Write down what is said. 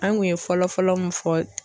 An kun ye fɔlɔfɔlɔ mun fɔ.